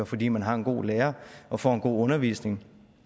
fordi man har en god lærer og får en god undervisning